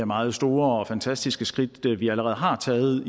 meget store og fantastiske skridt vi allerede har taget